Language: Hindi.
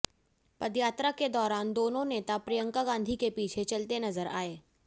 पदयात्रा के दौरान दोनों नेता प्रियंका गांधी के पीछे चलते नजर आए